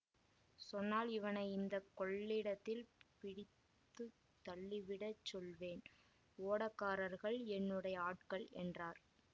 சொன்னால் இவனை இந்த கொள்ளிடத்தில் பிடித்து தள்ளிவிடச் சொல்லுவேன் ஓடக்காரர்கள் என்னுடைய ஆட்கள் என்றார்